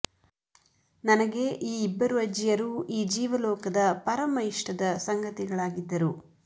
ನನಗೆ ಈ ಇಬ್ಬರು ಅಜ್ಜಿಯರೂ ಈ ಜೀವಲೋಕದ ಪರಮ ಇಷ್ಟದ ಸಂಗತಿಗಳಾಗಿದ್ದರು